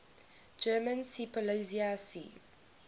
german seepolizei sea